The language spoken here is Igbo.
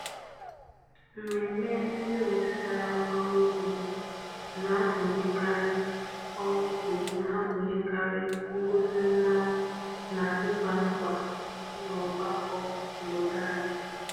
Mmemme ndị metụtara ọrụ ugbo na-agụnyekarị ọrụ ugbo na-agụnyekarị ngosi mmanwu na ịgba nkwa n'ọgbakọ obodo anyị.